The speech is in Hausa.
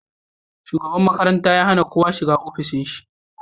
Shugaban makaranta ya hana kowa shiga ofishin shi